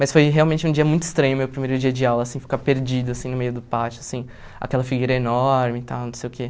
Mas foi realmente um dia muito estranho, meu primeiro dia de aula, assim, ficar perdido, assim, no meio do pátio, assim, aquela figueira enorme e tal, não sei o quê.